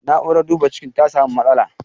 Na'urar duba cikin ta samu matsala.